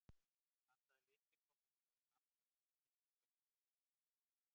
blandaðir litir koma hins vegar fram þegar tíðnidreifingin verður breiðari